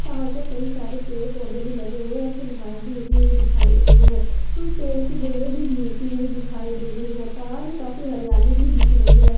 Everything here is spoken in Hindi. यह पहाड़ पर कई सारे पेड़ पौधे भी लगे हुए और कुछ घांस भी उगी हुई दिखाई दे रही है कुछ पेड़ की बेले भी झूलती हुई दिखाई दे रही है पहाड़ मे काफी हरियाली भी दिख रही है।